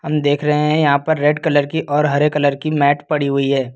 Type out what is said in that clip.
हम देख रहे हैं यहां पर रेड कलर की और हरे कलर की मैट पड़ी हुई है।